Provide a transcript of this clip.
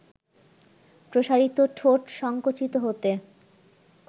প্রসারিত ঠোঁট সংকুচিত হতে